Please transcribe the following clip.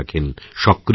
সক্রিয় থাকেন